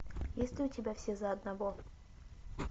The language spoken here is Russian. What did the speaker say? есть ли у тебя все за одного